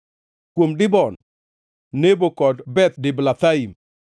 kuom Dibon, Nebo kod Beth Diblathaim,